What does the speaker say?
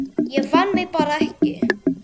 Ég fann mig bara ekki.